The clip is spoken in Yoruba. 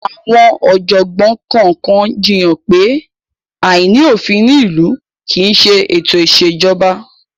Àwọn ọ̀jọ̀gbọ́n kọ̀ọ̀kan jiyàn pé, àìní òfin ní ìlú kì í ṣe ètò ìṣèjọba.